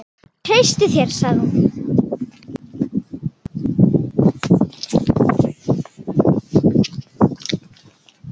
Ég treysti þér sagði hún.